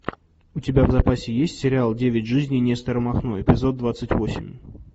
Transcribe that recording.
у тебя в запасе есть сериал девять жизней нестора махно эпизод двадцать восемь